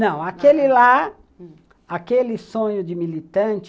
Não, aquele lá, aquele sonho de militante,